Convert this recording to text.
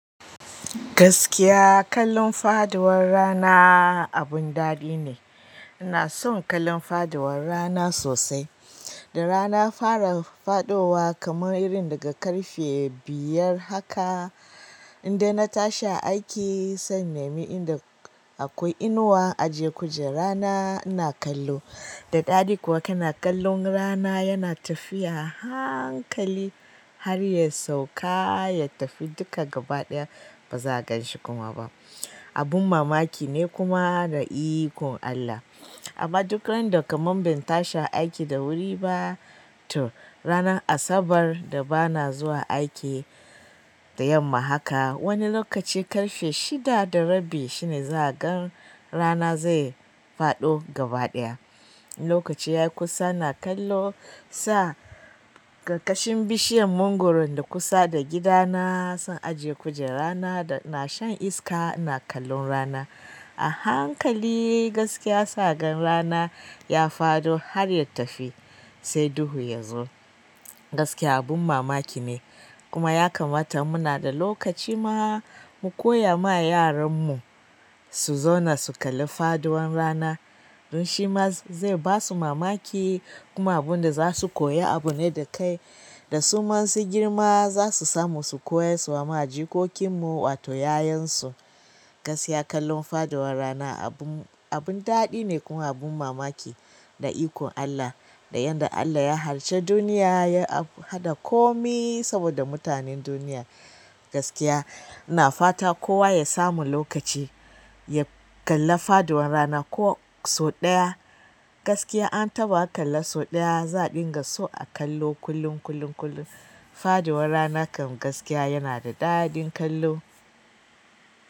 Gaskiya kallon faduwar rana abun daɗi ne. Ina son kallon fadawar rana sosai. Da rana fara faɗowa kamar irin daga ƙarfe biyar haka, in dai na tashi aiki, sai inne me in da akwai inuwa ajiye kujera na ina kallo. Daɗi kuwa kana kallon rana yana tafiya hankali har ya sauka ya tafi duka gaba ɗaya ba za ganshi kuma ba. Abun mamaki ne kuma da ikon Allah. Amma duk randa kamar bin tashi aiki da wuri ba tu rana Asabar da bana zuwa aiki da yamma haka, wani lokaci ƙarfe shida da rabi shine za agani rana zai faɗo gaba ɗaya. Lokaci ya kusa na kallo sa ƙarƙashin bishiyar mangwaro da kusa da gidana. Zan ajiye kujera na da na shan iska ina kallon rana. A hankali gaskiya sa gan rana ya faɗo har ya tafi sai duhu ya zo. Gaskiya abin mamaki ne kuma ya kamata muna da lokaci ma mu koya ma yaranmu su zauna su kalli faduwar rana. Don shi ma zai ba su mamaki kuma abin da za su koya abu ne da kai. Da su ma sun girma za su samu su koya su wa jikokinmu wato 'ya'yansu. Gaskiya kallon fadawar rana abun, abun daɗi ne kuma abun mamaki da ikon Allah. Da yadda Allah ya halicci duniya ya haɗa komi saboda mutanen duniya gaskiya ina fata kowa ya samu lokaci ya kalli faduwar rana ko sau ɗaya. Gaskiya an taɓa kalla sau ɗaya za dinga so a kallo kullum, kullum, kullum. Fadawar rana kan gaskiya yana da daɗin kallo.